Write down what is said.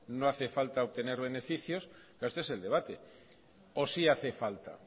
no hace falta obtener beneficios esto es el debate o sí hace falta